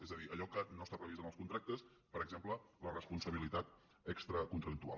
és a dir allò que no està previst en els contractes per exemple la responsabilitat extracontractual